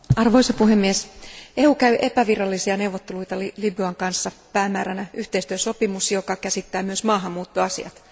Arvoisa puhemies, EU käy epävirallisia neuvotteluita Libyan kanssa päämääränä yhteistyösopimus, joka käsittää myös maahanmuuttoasiat.